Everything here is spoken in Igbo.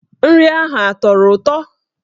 Nri ahụ ọ tọrọ ụtọ?